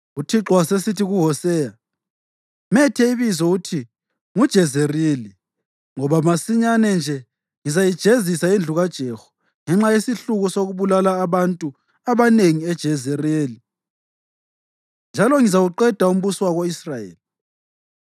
UThixo wasesithi kuHoseya, “Methe ibizo uthi nguJezerili, ngoba masinyane nje ngizayijezisa indlu kaJehu ngenxa yesihluku sokubulala abantu abanengi eJezerili, njalo ngizawuqeda umbuso wako-Israyeli.